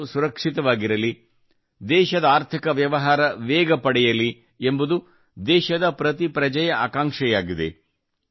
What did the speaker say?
ಜನರು ಸುರಕ್ಷಿತವಾಗಿರಲಿ ದೇಶದ ಆರ್ಥಿಕ ವ್ಯವಹಾರ ವೇಗ ಪಡೆಯಲಿ ಎಂಬುದು ದೇಶದ ಜನತೆಯ ಆಕಾಂಕ್ಷೆಯಾಗಿದೆ